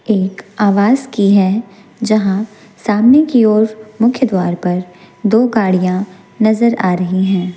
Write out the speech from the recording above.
एक आवास की है जहां सामने की ओर मुख्य द्वारा पर दो गाड़ियां नजर आ रही हैं।